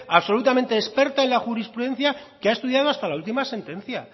absolutamente experta en la jurisprudencia que ha estudiado hasta la última sentencia